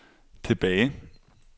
tilbage